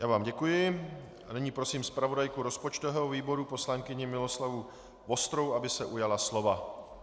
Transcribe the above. Já vám děkuji a nyní prosím zpravodajku rozpočtového výboru poslankyni Miloslavu Vostrou, aby se ujala slova.